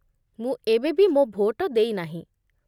ମୁଁ ଏବେବି ମୋ ଭୋଟ ଦେଇନାହିଁ